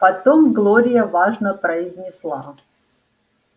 потом глория важно произнесла